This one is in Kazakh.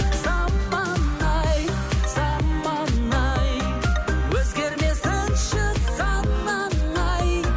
заман ай заман ай өзгермесінші санаң ай